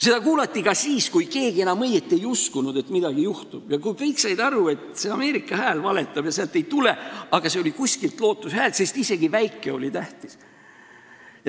Seda kuulati ka siis, kui keegi enam õieti ei uskunud, et midagi juhtub, ja kui kõik said aru, et see Ameerika Hääl valetab ja sealt midagi ei tule, aga see oli lootuse hääl ja isegi selline väike asi oli tähtis.